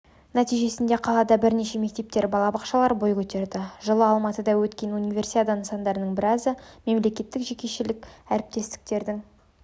нәтижесінде қалада бірнеше мектептер балабақшалар бой көтерді жылы алматыда өткен универсиада нысандарының біразы мемлекеттік-жекешелік әріптестіктің